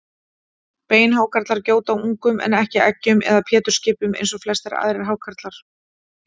Beinhákarlar gjóta ungum en ekki eggjum eða pétursskipum eins og flestir aðrir hákarlar.